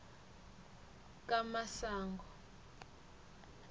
kamasango